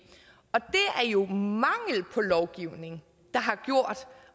og det er jo mangel på lovgivning